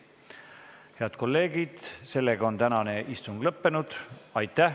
Head kolleegid, tänane istung on lõppenud.